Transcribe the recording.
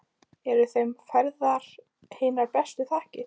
Eru þeim færðar hinar bestu þakkir.